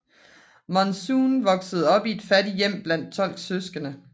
Monzon voksede op i et fattigt hjem blandt 12 søskende